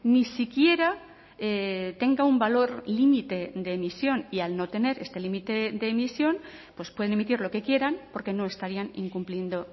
ni siquiera tenga un valor límite de emisión y al no tener este límite de emisión pues pueden emitir lo que quieran porque no estarían incumpliendo